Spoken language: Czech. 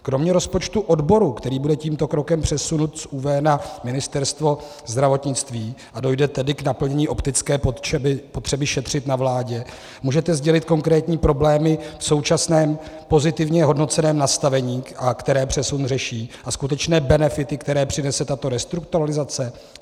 Kromě rozpočtu odboru, který bude tímto krokem přesunut z ÚV na Ministerstvo zdravotnictví, a dojde tedy k naplnění optické potřeby šetřit na vládě, můžete sdělit konkrétní problémy v současném pozitivně hodnoceném nastavení, které přesuny řeší, a skutečné benefity, které přinese tato restrukturalizace?